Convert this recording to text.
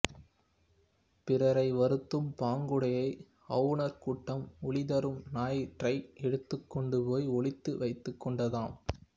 பிறரை வருத்தும் பாங்குடைய அவுணர் கூட்டம் ஒளி தரும் ஞாயிற்றை எடுத்துக்கொண்டு போய் ஒளித்து வைத்துக்கொண்டதாம்